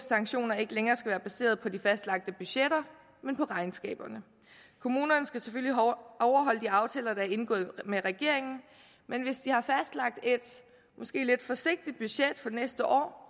sanktioner ikke længere være baseret på de fastlagte budgetter men på regnskaberne kommunerne skal selvfølgelig overholde de aftaler der er indgået med regeringen men hvis de har fastlagt et måske lidt forsigtigt budget for næste år